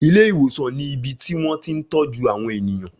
Ilé ìwòsàn ni ibi tí wón ti ń tọ́jú àwọn ènìyàn.